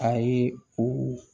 Ayi u